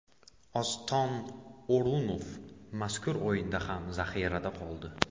Oston O‘runov mazkur o‘yinda ham zaxirada qoldi.